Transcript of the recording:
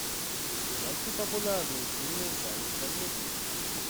найти популярные фильмы в жанре комедия